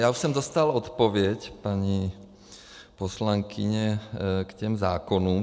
Já už jsem dostal odpověď, paní poslankyně, k těm zákonům.